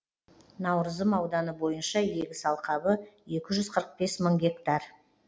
наурызым ауданы бойынша егіс алқабы екі жүз қырық бес мың гектар